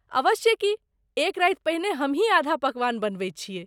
अवश्ये की। एक राति पहिने हमहीं आधा पकवान बनबैत छियैक।